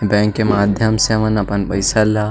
bank के माध्यम से अपन-अपन पईसा ला--